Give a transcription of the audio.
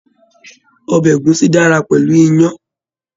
Ọbẹ̀ ẹ̀gúsí dára pẹ̀lú iyán.